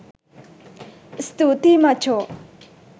ස්තූතියි මචෝ!